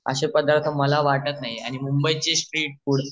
अशे पदार्थं मला वाटतं नाही आणि मुंबईचे स्ट्रीट फुड